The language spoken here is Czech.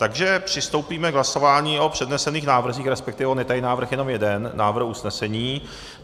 Takže přistoupíme k hlasování o přednesených návrzích, respektive on je tady návrh jenom jeden, návrh usnesení.